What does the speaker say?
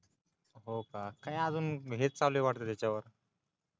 हो का काय आजून हेच चालूय वाटतय त्याच्यावर